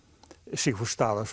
Sigfús Daðason